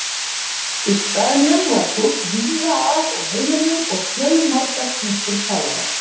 Í staðnum var fólk víða að úr heiminum og fjölmargar tungur talaðar.